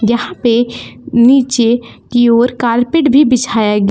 यहां पे नीचे की ओर कार्पेट भी बिछाया--